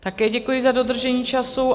Také děkuji za dodržení času.